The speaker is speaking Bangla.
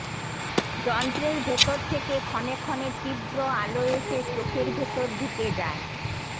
যন্ত্রের ভেতর থেকে ক্ষণে ক্ষণে তীব্র আলো এসে চোখের ভেতর ঢুকে যায়